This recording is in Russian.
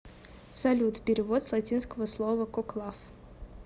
салют перевод с латинского слова коклав